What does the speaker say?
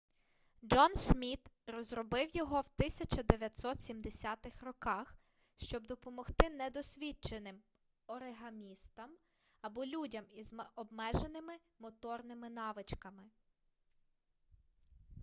джон сміт розробив його в 1970-х роках щоб допомогти недосвіченим оригамістам або людям із обмеженими моторними навичками